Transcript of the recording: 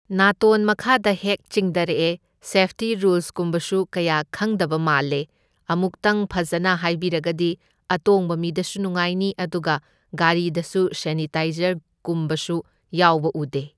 ꯅꯥꯇꯣꯟ ꯃꯈꯥꯗ ꯍꯦꯛ ꯆꯤꯡꯗꯔꯛꯑꯦ ꯁꯦꯐꯇꯤ ꯔꯨꯜꯁꯀꯨꯝꯕꯁꯨ ꯀꯌꯥ ꯈꯪꯗꯕ ꯃꯥꯜꯂꯦ ꯑꯃꯨꯛꯇꯪ ꯐꯖꯅ ꯍꯥꯏꯕꯤꯔꯒꯗꯤ ꯑꯇꯣꯡꯕ ꯃꯤꯗꯁꯨ ꯅꯨꯡꯉꯥꯏꯅꯤ ꯑꯗꯨꯒ ꯒꯥꯔꯤꯗꯁꯨ ꯁꯦꯅꯤꯇꯥꯏꯖꯔ ꯀꯨꯝꯕꯁꯨ ꯌꯥꯎꯕ ꯎꯗꯦ꯫